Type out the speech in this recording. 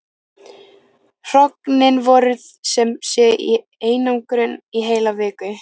Hrognin voru sem sé í einangrun í heila viku.